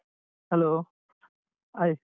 Hello hi.